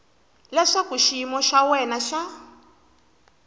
leswaku xiyimo xa wena xa